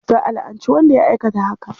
Za a la'anci wanda ya aikata haka.